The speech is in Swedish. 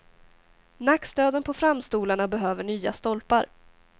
Nackstöden på framstolarna behöver nya stolpar.